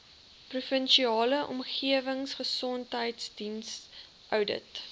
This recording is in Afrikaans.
provinsiale omgewingsgesondheidsdiens oudit